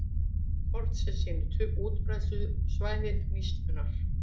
Kort sem sýnir útbreiðslusvæði hnísunnar.